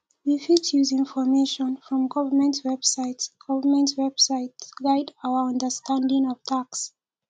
we fit use information from government website government website guide our understanding of tax